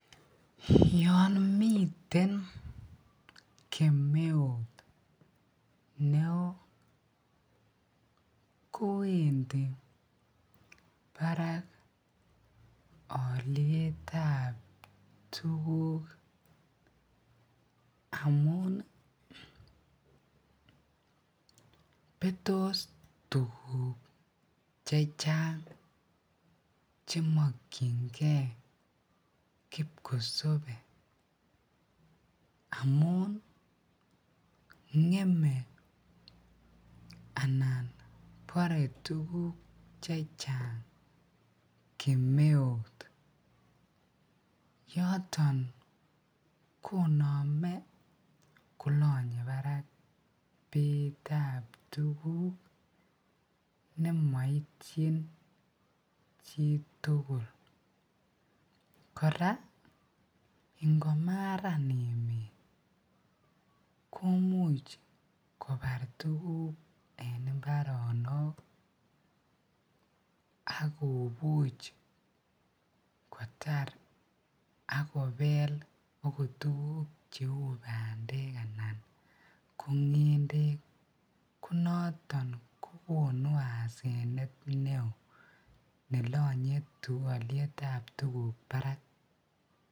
Yoon miten kemeut neoo kowendi barak olietab tukuk amun betoos tukuk chechang chemokyinge kipkosobe amun ngeme anan boree tukuk chechang kemeut yoton konome kolonye barak beitab tukuk nemoityin chtukul, kora ngomaran emetkomuch kobar tukuk en imbaronok ak kobuch kotar ak kobel akot tukuk cheuu bandek anan ko ngendek, ko noton kokonu asenet neo nelonye olietab tukuk barak.